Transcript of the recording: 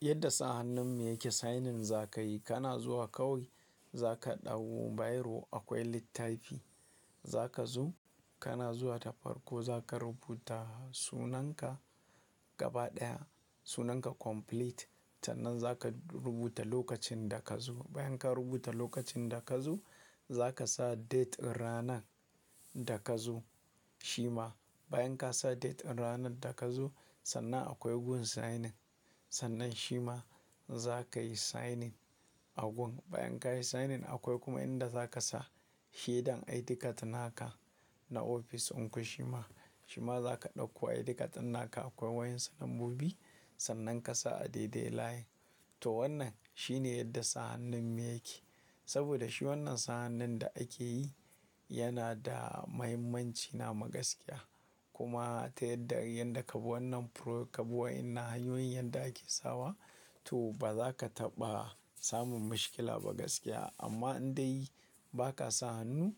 Yadda sa hannun mu yake signing za ka yi, kana zuwa kawai za ka ɗauko biro akwai littafi za ka zo kana zuwa ta farko za ka rubuta sunanka gaba ɗaya sunanka complete sannan za ka rubuta lokacin da ka zo. Bayan ka rubuta lokacin da ka zo za ka sa date ranar da ka zo shima bayan ka sa date ranar da ka zo sannan akwai gun signing sannan shima za ka yi signing a gun. Bayan ka yi signing akwai kuma inda za ka sa shaidan ID card naka na ofis ɗinku shima, shima za ka ɗauko ID card naka akwai wayoyin nambobi sannan ka sa a daidai layi. To wannan shine yadda sa hannun mu yake. Saboda shi wannan sa hannun da ake yi yana da mahimmanci namu gaskiya kuma ta yadda yanda ka bi wannan pro-- ka bi wa'innan hanyoyin yanda ake sawa to ba za ka taɓa samun miskila ba gaskiya amma in dai ba ka sa hannu